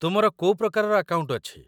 ତୁମର କୋଉ ପ୍ରକାରର ଆକାଉଣ୍ଟ ଅଛି ?